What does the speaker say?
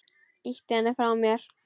Ýti henni frá mér.